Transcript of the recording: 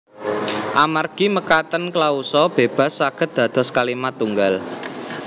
Amargi mekaten klausa bébas saged dados kalimat tunggal